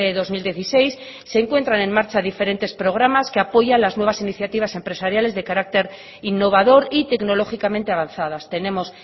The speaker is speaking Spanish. dos mil dieciséis se encuentran en marcha diferentes programas que apoya las nuevas iniciativas empresariales de carácter innovador y tecnológicamente avanzadas tenemos